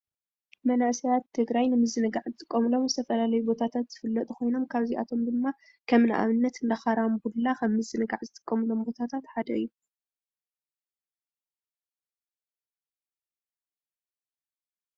መናእሰይ ትግራይ ንምዝንጋዕ ዝጥቀምሎም ዝተፈላለዩ ቦታት ዝፍለጡ ኮይኖም ካብዚኣቶም ድማ ከም ንኣብነት እንዳ ኮራንብላ ከም ምዝንጓዕ ዝጥቀምሎም ቦታታት ሓደ እዩ፡፡